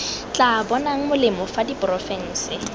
tla bonang molemo fa diporofense